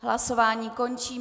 Hlasování končím.